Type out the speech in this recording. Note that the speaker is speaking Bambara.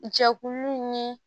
Jɛkuluw ni